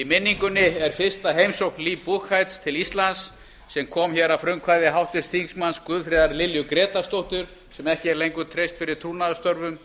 minningunni er fyrsta heimsókn lee buchheits til íslands sem kom hér að frumkvæði háttvirtur þingmaður guðfríðar lilju grétarsdóttur sem ekki er lengur treyst fyrir trúnaðarstörfum